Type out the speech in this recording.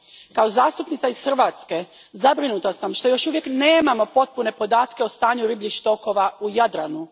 Kao zastupnica iz Hrvatske zabrinuta sam što još uvijek nemamo potpune podatke o stanju ribljih stokova u Jadranu.